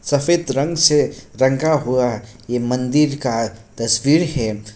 सफेद रंग से रंगा हुआ ये मंदिर का तस्वीर है।